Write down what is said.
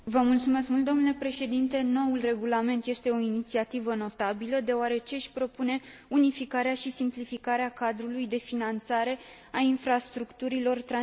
Noul regulament este o inițiativă notabilă, deoarece își propune unificarea și simplificarea cadrului de finanțare a infrastructurilor transeuropene de energie.